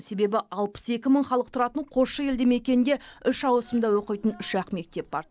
себебі алпыс екі мың халық тұратын қосшы елді мекенінде үш ауысымда оқитын үш ақ мектеп бар